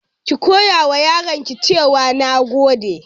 Ki koyawa yaranki cewa "Nagode"